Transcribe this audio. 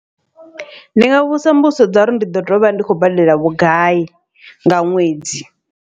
Ndi nga vhudzisa mbudziso dza uri ndi ḓo tea uvha ndi khou badela vhugai nga ṅwedzi.